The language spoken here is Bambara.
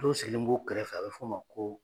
Dɔw sigilen b'o kɛrɛfɛ a be f'o ma ko